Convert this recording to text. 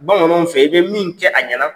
Bamananw fɛ i bɛ min kɛ a ɲɛna